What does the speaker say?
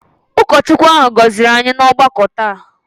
Ụkọchukwu ahụ gọziri anyị n'ọgbakọ taa